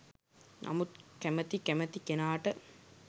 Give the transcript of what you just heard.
නමුත් කැමති කැමති කෙනාට